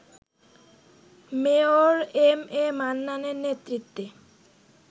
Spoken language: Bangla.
মেয়র এমএ মান্নানের নেতৃত্বে